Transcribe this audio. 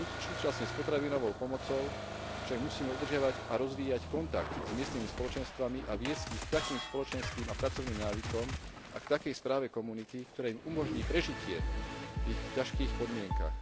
Súčasne s potravinovou pomocou však musíme udržiavať a rozvíjať kontakt s miestnymi spoločenstvami a viesť ich k takým spoločenským a pracovným návykom a k takej správe komunity, ktoré im umožní prežitie v ich ťažkých podmienkach.